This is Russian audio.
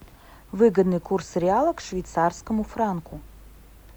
выгодный курс реала к швейцарскому франку